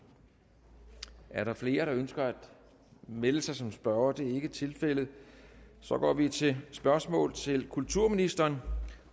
er der flere der ønsker at melde sig som spørgere det er ikke tilfældet så går vi til spørgsmål til kulturministeren